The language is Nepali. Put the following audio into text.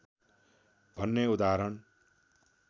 भन्ने उदाहरण